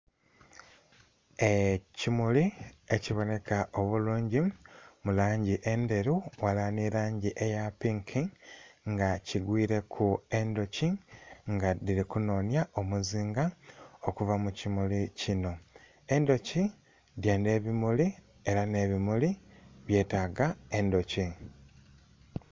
Ekimuli ekibonheka obulungi mu langi endheru ghalala nh'elangi eya pinki nga kigwiileku endhuki nga dhili kunhonhya omuzinga, okuva mu kimuli kinho. Endhuki dhendha ebimuli ela nh'ebimuli byetaaga endhuki.